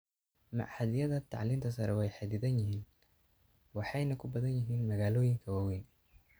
Machadyada tacliinta sare way xadidan yihiin waxayna ku badan yihiin magaalooyinka waaweyn.